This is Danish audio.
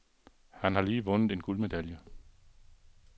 Han har lige vundet en guldmedalje.